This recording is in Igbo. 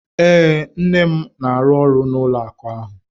Ee, nne m na-arụ ọrụ n'ụlọ akụ ahụ.